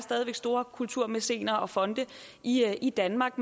store kulturmæcener og fonde i i danmark